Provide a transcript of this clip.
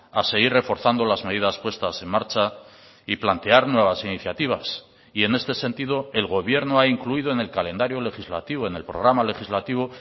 a seguir reforzando las medidas puestas en marcha y plantear nuevas iniciativas y en este sentido el gobierno ha incluido en el calendario legislativo en el programa legislativo